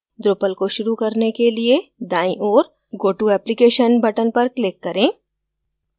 drupal को शुरू करने के लिए दाईं ओर go to application button पर click करें